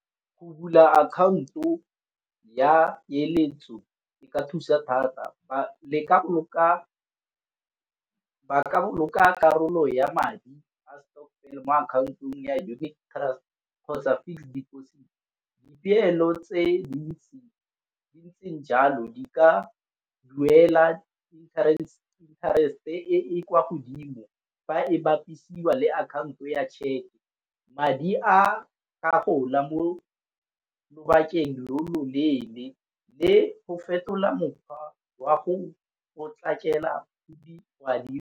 Go bula akhaonto ya peeletso e ka thusa thata, ba boloka karolo ya madi a stokvel mo akhaontong ya unit trust kgotsa fixed deposit. Dipeelo tse dintseng jalo di ka duela interest e e kwa godimo, ba e bapisiwa le akhaonto ya tšheke. Madi a, a gola mo lobakeng lo lo leele le fetola mokgwa wa go potlakela madi.